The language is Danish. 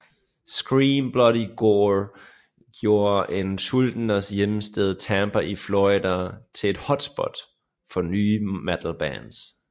Scream Bloody Gore gjorde Schuldiners hjemsted Tampa i Florida til et hotspot for nye metal bands